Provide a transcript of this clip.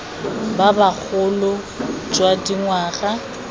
ba ba bogolo jwa dingwaga